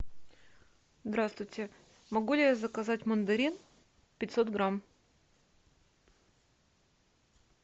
здравствуйте могу ли я заказать мандарин пятьсот грамм